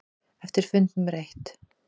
Eftir fund númer eitt.